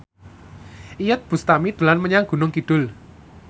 Iyeth Bustami dolan menyang Gunung Kidul